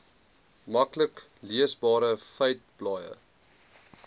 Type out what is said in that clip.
maklik leesbare feiteblaaie